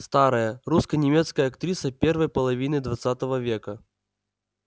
старая русско-немецкая актриса первой половины двадцатого века